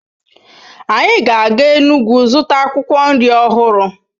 Anyị ga-aga Enugwu zụta akwụkwọ nri ọhụrụ